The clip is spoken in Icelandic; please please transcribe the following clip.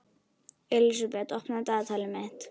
Elísabet, opnaðu dagatalið mitt.